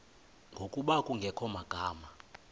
ngokuba kungekho magama